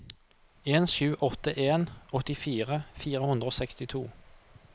en sju åtte en åttifire fire hundre og sekstito